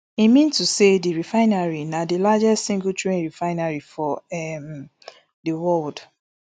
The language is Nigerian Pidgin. e mean to say di refinery na di largest singletrain refinery for um di world